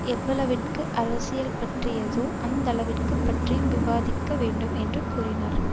எவ்வளவிற்கு அரசியல் பற்றியதோ அந்தளவிற்கு பற்றியும் விவாதிக்க வேண்டும் என்று கூறினார்